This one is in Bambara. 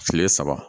Kile saba